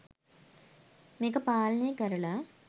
මේක පාලනය කරලා